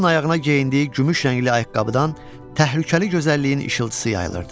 Yalın ayağına geyindiyi gümüş rəngli ayaqqabıdan təhlükəli gözəlliyin işıltısı yayılırdı.